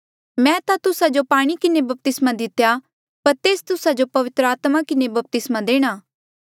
मैं ता तुस्सा जो पाणी किन्हें बपतिस्मा दितेया पर तेस तुस्सा जो पवित्र आत्मा किन्हें बपतिस्मा देणा